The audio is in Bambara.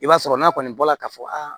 I b'a sɔrɔ n'a kɔni bɔra k'a fɔ